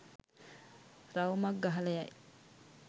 රවුමක් ගහලා යයි.